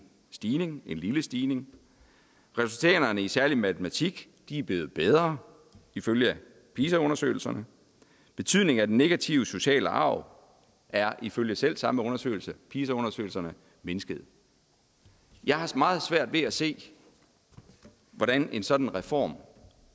stigning en lille stigning resultaterne i særlig matematik er blevet bedre ifølge pisa undersøgelserne betydningen af den negative sociale arv er ifølge selv samme undersøgelser pisa undersøgelserne mindsket jeg har meget svært ved at se hvordan en sådan reform